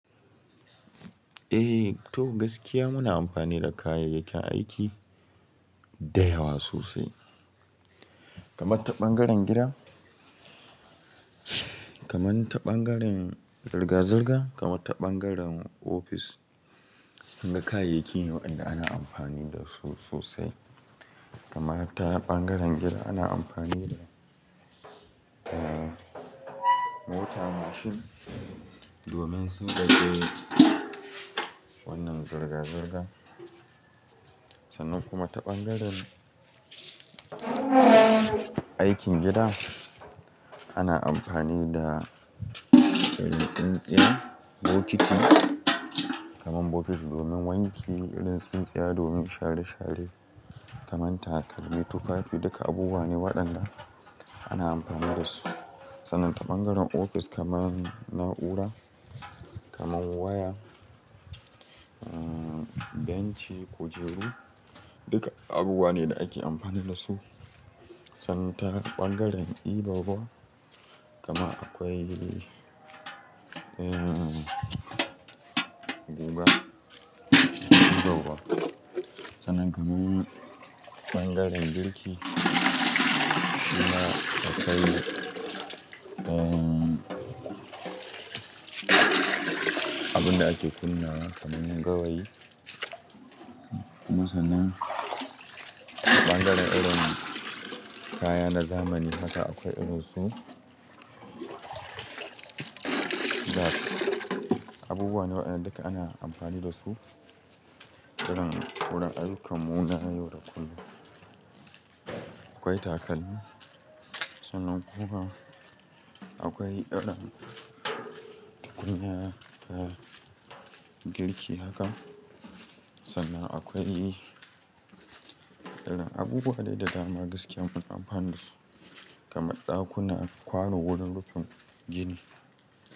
Eh, to gaskiya muna amfani da kayayyakin aiki da yawa sosai. Kaman ta bangaren gida, kaman ta ɓangaren zirga-zirga, kaman ta ɓangaren ofis duk kayayyaki ne waƴanda ana amfani dasu sosai. Kamar ta ɓangaren gida ana amfani da, mota mashin domin sun ɗage wannan zirga-zirga. Sannan kuma ta ɓangaren aikin gida ana amfani da irin tsintsiya, bokiti kamar bokiti domin wanki, irin tsintsiya domin share-share, kaman takalmi, tufafi duka abubuwa ne waɗanda ana amfani da su. Sannan ta ɓangaren ofis kaman na'ura, kaman waya. Benci, kujeru duka abubuwa ne da ake amfani da su. Sannan ta ɓangaren ɗiban ruwa, kaman akwai guga, yawwa. Sannan kaman ɓangaren girki kuma akwai, abunda ake kunnawa kaman gawayi. Kuma sannan ɓangaren irin kaya na zamani haka akwai irin su gas. Abubuwa ne waɗanda duka ana amfani da su. Irin wurin ayyukanmu na yau da kullum akwai takalmi. Sannan kuma akwai irin tukunya na girki haka. Sannan akwai irin abubuwa dai da dama gaskiya muna amfani da su kaman ɗakuna, kwano wurin rufin gini.